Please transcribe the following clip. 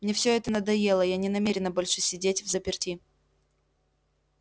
мне всё это надоело я не намерена больше сидеть взаперти